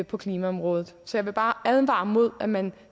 på klimaområdet så jeg vil bare advare mod at man